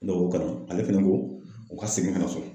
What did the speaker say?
Ne k'o kalan ale fɛnɛ ko u ka segin ka na so.